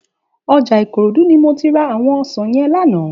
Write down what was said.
Òjá Ikorodu ni mó ti rá áwòn òsán yèn làná